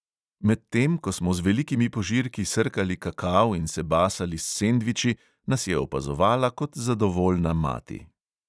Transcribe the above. Medtem ko smo z velikimi požirki srkali kakao in se basali s sendviči, nas je opazovala kot zadovoljna mati.